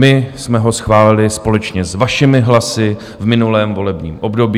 My jsme ho schválili společně s vašimi hlasy v minulém volebním období.